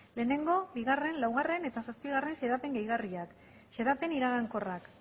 lehenengo bigarren laugarren eta zazpigarren xedapen gehigarriak xedapen iragankorrak